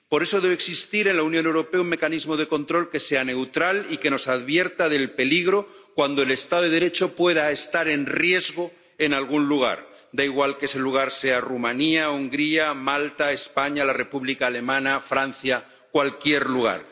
Por eso debe existir en la Unión Europea un mecanismo de control que sea neutral y que nos advierta del peligro cuando el Estado de Derecho pueda estar en riesgo en algún lugar, da igual que ese lugar sea Rumanía, Hungría, Malta, España, la República Alemana, Francia, cualquier lugar.